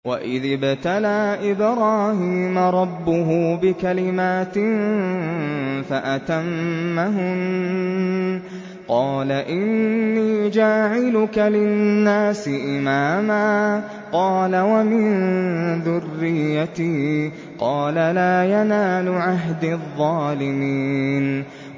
۞ وَإِذِ ابْتَلَىٰ إِبْرَاهِيمَ رَبُّهُ بِكَلِمَاتٍ فَأَتَمَّهُنَّ ۖ قَالَ إِنِّي جَاعِلُكَ لِلنَّاسِ إِمَامًا ۖ قَالَ وَمِن ذُرِّيَّتِي ۖ قَالَ لَا يَنَالُ عَهْدِي الظَّالِمِينَ